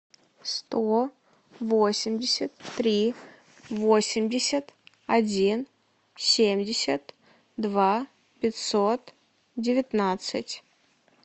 сто восемьдесят три восемьдесят один семьдесят два пятьсот девятнадцать